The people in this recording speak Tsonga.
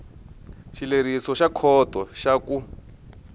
xileriso xa khoto xa ku